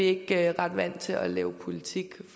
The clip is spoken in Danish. ikke ret vant til at lave politik